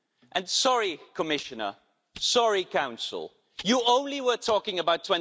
And sorry, Commissioner, sorry, Council, you were only talking about